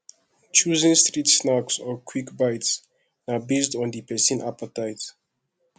choosing street snacks or quick bites na based on di persin appetite